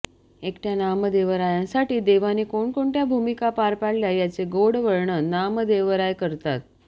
एकटय़ा नामदेवरायांसाठी देवाने कोणकोणत्या भूमिका पार पाडल्या याचे गोड वर्णन नामदेवराय करतात